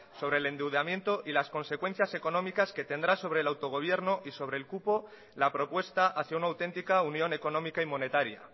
sobre el endeudamiento y las consecuencias económicas que tendrá sobre el autogobierno y sobre el cupo la propuesta hacía una auténtica unión económica y monetaria